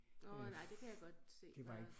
Åh nej det kan jeg godt se var